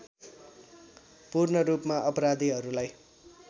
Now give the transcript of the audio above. पूर्ण रूपमा अपराधीहरूलाई